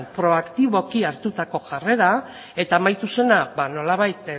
proaktiboki hartutako jarrera eta amaitu zena ba nolabait